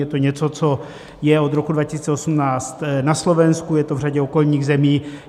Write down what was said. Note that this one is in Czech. Je to něco, co je od roku 2018 na Slovensku, je to v řadě okolních zemí.